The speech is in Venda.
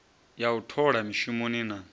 ya u thola mishumoni na